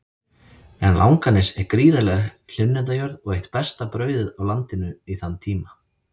En Langanes er gríðarleg hlunnindajörð og eitt besta brauðið á landinu í þann tíma.